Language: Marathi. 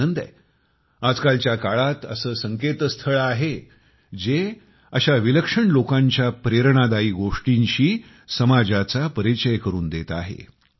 मला आनंद आहे आजकालच्या काळात असे संकेतस्थळ आहे जे अशा विलक्षण लोकांच्या प्रेरणादायी गोष्टींशी समाजाचा परिचय करून देत आहे